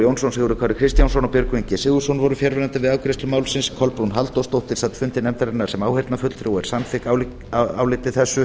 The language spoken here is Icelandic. jónsson sigurður kári kristjánsson og björgvin g sigurðsson voru fjarverandi við afgreiðslu málsins kolbrún halldórsdóttir sat fundi nefndarinnar sem áheyrnarfulltrúi og er samþykk nefndaráliti þessu